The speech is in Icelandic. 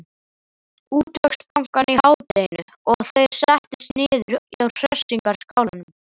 Útvegsbankann í hádeginu og þeir settust niður á Hressingarskálanum.